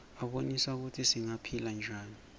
abonisa kutsi singaphila njani